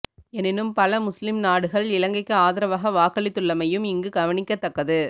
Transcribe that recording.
எனினும் பல முஸ்லிம் நாடுகள் இலங்கைக்கு ஆதரவாக வாக்களித்துள்ளமையும் இங்கு கவனிக்கத்தக்கது